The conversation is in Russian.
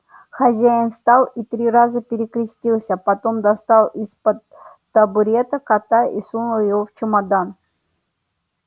хозяин встал и три раза перекрестился потом достал из-под табурета кота и сунул его в чемодан